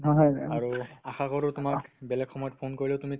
আৰু আশা কৰো তোমাক বেলেগ সময়ত phone কৰিলেও তুমি